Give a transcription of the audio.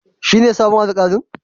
Shine sabon Alkalin?